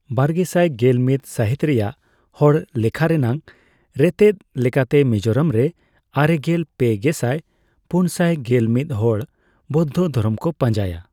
ᱵᱟᱨᱜᱮᱥᱟᱭ ᱜᱮᱞᱢᱤᱛ ᱥᱟᱹᱦᱤᱛ ᱨᱮᱭᱟᱜ ᱦᱚᱲ ᱞᱮᱠᱷᱟ ᱨᱮᱱᱭᱜ ᱨᱮᱛᱮᱫ ᱞᱮᱠᱟᱛᱮ ᱢᱤᱡᱳᱨᱟᱢ ᱨᱮ ᱟᱨᱮᱜᱮᱞ ᱯᱮ ᱜᱮᱥᱟᱭ ᱯᱩᱱᱥᱟᱭ ᱜᱮᱞᱢᱤᱛ ᱦᱚᱲ ᱵᱳᱫᱽᱫᱷᱚ ᱫᱷᱚᱨᱚᱢ ᱠᱚ ᱯᱟᱸᱡᱟᱭᱟ ᱾